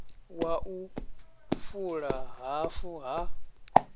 wa u fula hafu ha